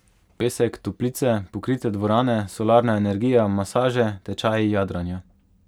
Pesek, toplice, pokrite dvorane, solarna energija, masaže, tečaji jadranja.